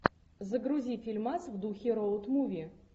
загрузи фильмас в духе роуд муви